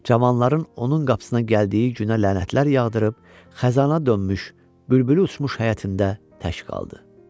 Cavanların onun qapısına gəldiyi günə lənətlər yağdırıb, xəzana dönmüş, bülbülü uçmuş həyətində tək qaldı.